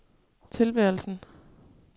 tilværelsen